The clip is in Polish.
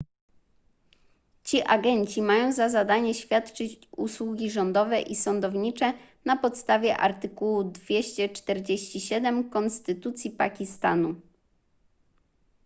ci agenci mają za zadanie świadczyć usługi rządowe i sądownicze na podstawie artykułu 247 konstytucji pakistanu